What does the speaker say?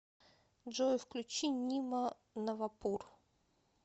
джой включи нима навапур